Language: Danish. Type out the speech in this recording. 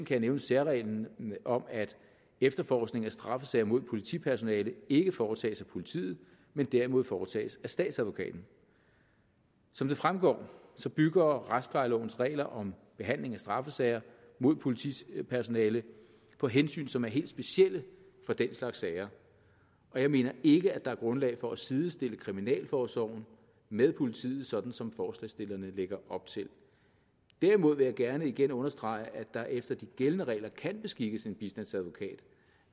jeg nævne særreglen om at efterforskning af straffesager mod politipersonale ikke foretages af politiet men derimod foretages af statsadvokaten som det fremgår bygger retsplejelovens regler om behandling af straffesager mod politipersonale på hensyn som er helt specielle for den slags sager og jeg mener ikke at der er grundlag for at sidestille kriminalforsorgen med politiet sådan som forslagsstillerne lægger op til derimod vil jeg gerne igen understrege at der efter de gældende regler kan beskikkes en bistandsadvokat